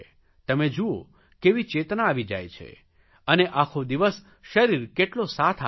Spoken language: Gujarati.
તમે જુઓ કેવી ચેતના આવી જાય છે અને આખો દિવસ શરીર કેટલો સાથ આપે છે